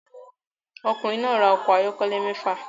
Ọkùnrin náà ra ọkọ̀ ayọ́kẹ́lẹ́ mẹ́fà